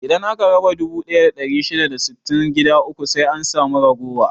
Idan aka raba dubu ɗaya da ɗari shida da sittin gida uku sai an samu ragowa.